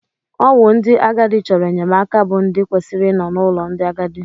Ọ wụ ndị agadi chọrọ enyemaka bụ ndị kwesịrị ị nọ n'ulo ndị agadi.